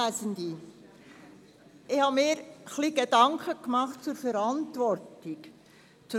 Ich habe mir Gedanken zum Thema Verantwortung gemacht.